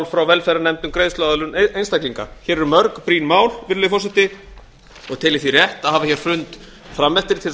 frá velferðarnefnd um greiðsluaðlöguneinstaklinga hér eru mörg brýn mál virðulegi forseti og tel ég því rétt að hafa fund fram eftir til að